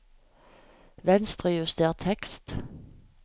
Venstrejuster tekst